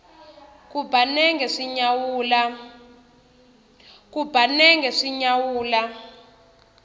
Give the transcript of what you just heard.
ku ba nenge swi nyawula